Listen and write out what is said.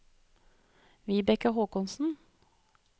Vibeke Håkonsen